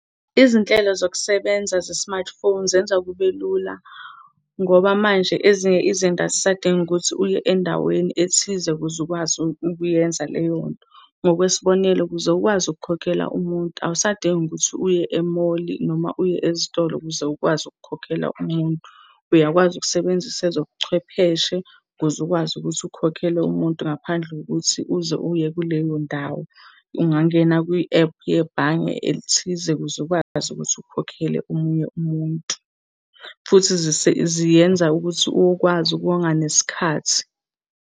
Izinhlelo zokusebenza ze-smartphone zenza kube lula ngoba manje ezinye izinto azisadingi ukuthi uye endaweni ethize ukuze ukwazi ukuyenza leyonto. Ngokwesibonelo, ukuze ukwazi ukukhokhela umuntu awusadingi ukuthi uye e-mall noma uye ezitolo ukuze ukwazi ukukhokhela umuntu. Uyakwazi ukusebenzisa ezobuchwepheshe ukuze ukwazi ukuthi ukhokhele umuntu ngaphandle kokuthi uze uye kuleyo ndawo. Ungangena kwi-app yebhange elithize ukuze ukwazi ukuthi ukhokhele omunye umuntu. Futhi ziyenza ukuthi ukwazi ukuwonga nesikhathi.